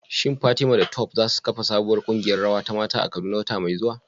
Shin Fatima da Tope za su kafa sabuwar kungiyar rawa ta mata a Kaduna wata mai zuwa?